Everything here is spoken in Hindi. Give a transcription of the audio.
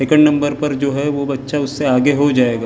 सेकंड नंबर पर जो है वो बच्चा उससे आगे हो जाएगा।